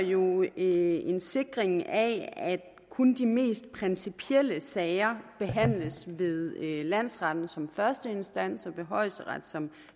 jo en sikring af at kun de mest principielle sager behandles ved landsretten som første instans og ved højesteret som